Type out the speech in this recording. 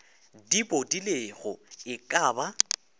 di bodilego e ka ba